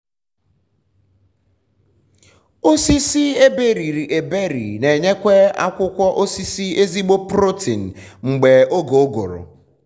osisi eberiri eberi n’enyekwa akwụkwọ osisi ezigbo um protein um mgbe oge ụgụrụ